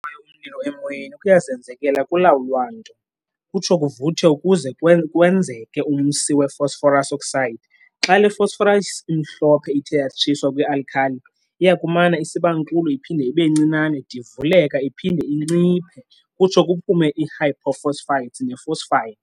Ukubamba kwayo umlilo emoyeni kuyazenzekela akulawulwa nto, kutsho kuvuthe ukuze kwenzeke umsi we-phosphorus, V, oxide. Xa le phosphorus imhlophe ithe yatshiswa kwi-alkali, iyakumana isibankulu iphinde ibencinane divuleka iphinde inciphe kutsho kuphume i-hypophosphites ne-phosphine.